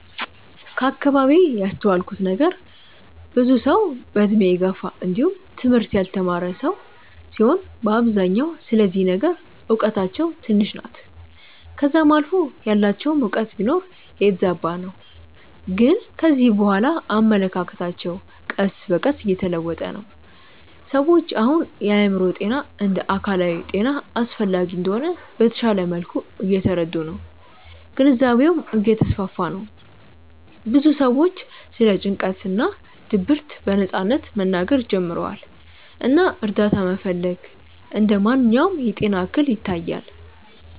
ከአከባቢዬ ያስተዋልኩት ነገር ብዙ ሰዉ በእድሜ የገፉ እንዲውም ትምህርት ያልተማረ ሰዉ ሲሆኑ በአብዛኛው ስለዚህ ነገር እውቀታቸው ትንሽ ናት ከዛም አልፎ ያላቸውም እውቀት ቢኖር የተዛባ ነው ግን ከጊዜ በኋላ አመለካከቶች ቀስ በቀስ እየተለወጡ ነው። ሰዎች አሁን የአእምሮ ጤና እንደ አካላዊ ጤና አስፈላጊ እንደሆነ በተሻለ መልኩ እየተረዱ ነው ግንዛቤውም እየተስፋፋ ነው ብዙ ሰዎችም ስለ ጭንቀት እና ድብርት በነጻነት መናገር ጀምረዋል እና እርዳታ መፈለግ እንደ ማንኛውም የጤና እክል ይታያል።